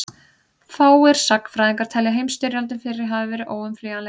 fáir sagnfræðingar telja að heimsstyrjöldin fyrri hafi verið óumflýjanleg